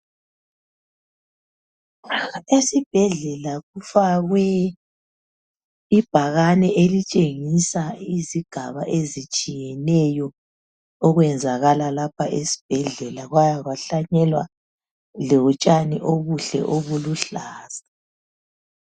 Esibhedlela kufakwe ibhakane elitshengisa izigaba ezitshiyeneyo okwenzakala lapha esibhedlela kwaya kwahlanyelwa lotshani obuhle obuluhlaza.